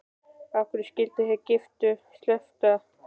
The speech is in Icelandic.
Af hverju skyldu þeir giftu sleppa?